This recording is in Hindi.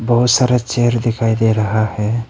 बहुत सारा चेयर दिखाई दे रहा है।